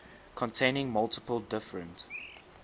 containing multiple different